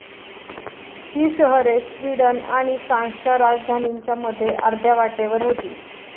ही शहरे स्वीडन आणि फ्रान्सच्या राजधानींच्या मध्ये अर्ध्या वाटेवर होती.